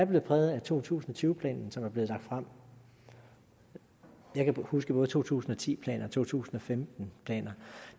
blevet præget af to tusind og tyve planen som er blevet lagt frem jeg kan huske både to tusind og ti planen og to tusind og femten planen